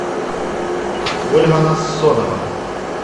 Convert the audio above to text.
ольга нассонова